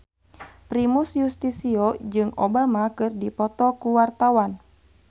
Primus Yustisio jeung Obama keur dipoto ku wartawan